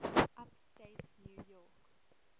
upstate new york